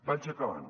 vaig acabant